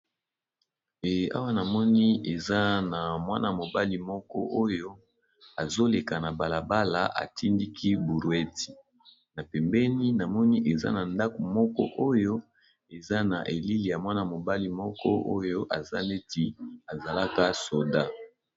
E awa namoni eza na mwana mobali moko oyo azoleka na balabala atindaki brouette na pembeni namoni eza na ndako moko oyo eza na elili ya mwana mobali moko oyo aza neti azalaka soda.